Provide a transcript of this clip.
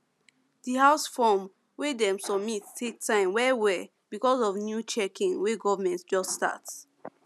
the house form wey dem submit take time wellwell because of new checking wey government just start